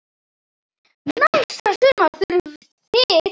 Næsta sumar þurfið þið ekki.